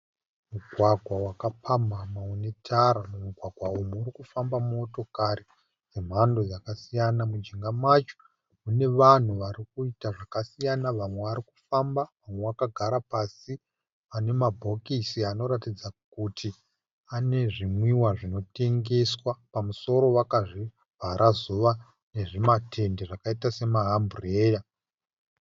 Mugwagwa wakapamhamha une tara. Mumugwagwa umu murikufamba motokari dzemhando yakasiyana. Mujinga macho mune vanhu varikuita zvakasiyana, vamwe vari kufamba vamwe vakagara pasi pane mabhokisi anoratidza kuti ane zvimwiwa zvinotengeswa. Pamusoro vakazvivhara zuva nezvimatende zvakaita sezvima amburera